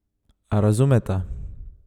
A razumeta?